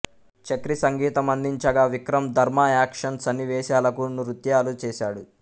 చక్రీ సంగీతం అందించగా విక్రమ్ ధర్మా యాక్షన్ సన్నివేశాలకు నృత్యాలు చేసాడు